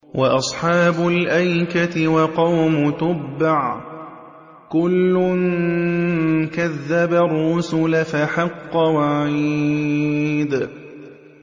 وَأَصْحَابُ الْأَيْكَةِ وَقَوْمُ تُبَّعٍ ۚ كُلٌّ كَذَّبَ الرُّسُلَ فَحَقَّ وَعِيدِ